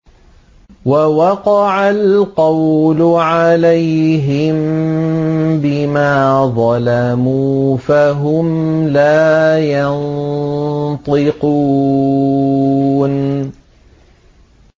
وَوَقَعَ الْقَوْلُ عَلَيْهِم بِمَا ظَلَمُوا فَهُمْ لَا يَنطِقُونَ